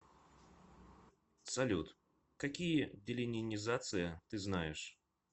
салют какие деленинизация ты знаешь